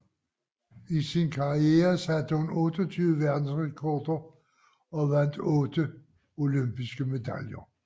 I sin karriere satte hun 28 verdensrekorder og vandt otte olympiske medaljer